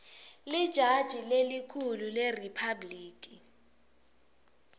lijaji lelikhulu leriphabhliki